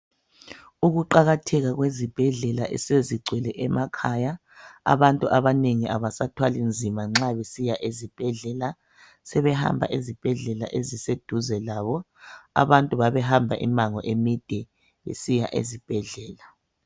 Ukuqakatheka kwezibhedlela esezingcwele emakhaya abantu abanengi labasathwali nzima nxa besiya ezibhedlela sebehamba ezibhedlela eziseduze labo abantu babehamba imango emide besiya ezibhedlela